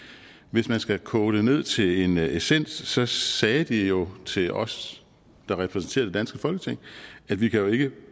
hvis man skal koge det ned til en essens essens sagde de jo til os der repræsenterede det danske folketing at vi jo ikke